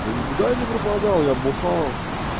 да никуда я не пропадал я бухал